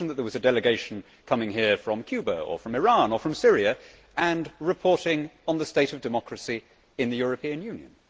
Imagine that there was a delegation coming here from Cuba, from Iran or from Syria and reporting on the state of democracy in the European Union.